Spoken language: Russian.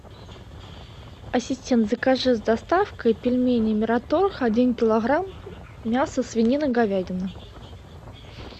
ассистент закажи с доставкой пельмени мираторг один килограмм мясо свинина говядина